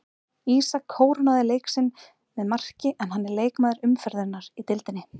Ísak kórónaði leik sinn með marki en hann er leikmaður umferðarinnar í deildinni.